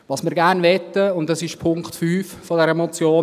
Was wir gern möchten, und das ist der Punkt 5 dieser Motion: